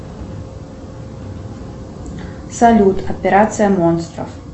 салют операция монстров